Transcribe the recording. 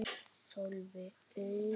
Sölvi: Eiður?